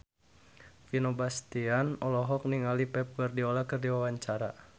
Vino Bastian olohok ningali Pep Guardiola keur diwawancara